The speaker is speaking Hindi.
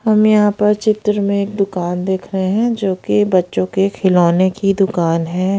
हम यहां पर चित्र में एक दुकान देख रहे हैं जो कि बच्चों के खिलौने की दुकान है।